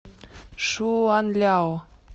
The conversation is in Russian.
шуанляо